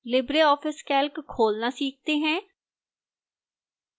libreoffice calc खोलना सीखते हैं